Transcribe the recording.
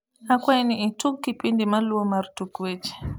akwai ni itug kipindi maluo mar tuk weche